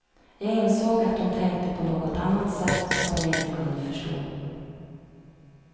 Jag insåg att hon tänkte på något annat sätt, som jag inte kunde förstå.